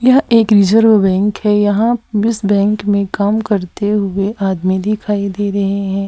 यह एक reserve bank है यहां इस बैंक में काम करते हुए आदमी दिखाई दे रहे हैं।